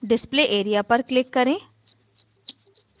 display area पर click करें